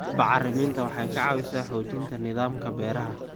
Bacriminta waxay ka caawisaa xoojinta nidaamka beeraha.